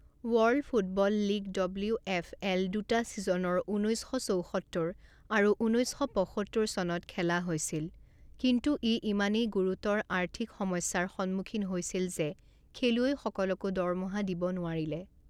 World football league W F L দুটা ছিজন ঊনৈছ শ চৌসত্তৰ আৰু ঊনৈছ শ পঁসত্তৰ চনত খেলা হৈছিল, কিন্তু ই ইমানেই গুৰুতৰ আৰ্থিক সমস্যাৰ সন্মুখীন হৈছিল যে খেলুৱৈসকলকো দৰমহা দিব নোৱাৰিলে।